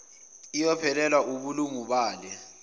iyophelelwa wubulungu bale